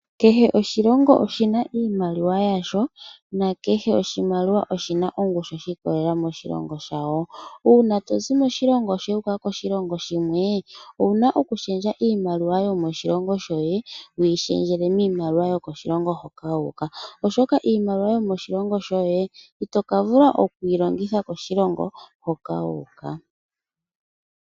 Kehe oshilongo oshina iimaliwa yasho nakehe oshimaliwa oshina ongushu shi ikololela moshilongo shawo. Uuna tozi moshilongo shoye wuuka koshilongo shimwe owuna oku shendja iimaliwa yomoshilongo shoye wuyi shendjele miimaliwa yomoshilongo hoka wuuka, oshoka iimaliwa yomoshilongo shoye itoka vula okuyi longitha koshilongo hoka wuuka.